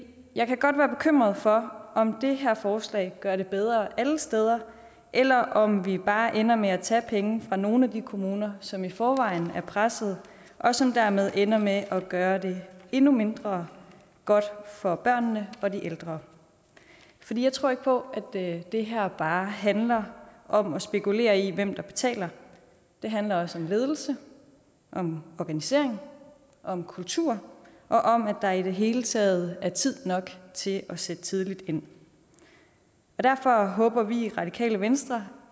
jeg kan godt være bekymret for om det her forslag gør det bedre alle steder eller om vi bare ender med at tage penge fra nogle af de kommuner som i forvejen er pressede og som dermed ender med at gøre det endnu mindre godt for børnene og de ældre jeg tror ikke på at det her bare handler om at spekulere i hvem der betaler det handler også om ledelse om organisering om kultur og om at der i det hele taget er tid nok til at sætte tidligt ind derfor håber vi i radikale venstre